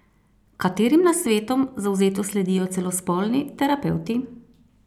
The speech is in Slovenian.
Katerim nasvetom zavzeto sledijo celo spolni terapevti?